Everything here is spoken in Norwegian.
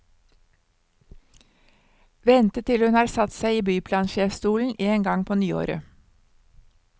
Vente til hun har satt seg i byplansjefstolen en gang på nyåret.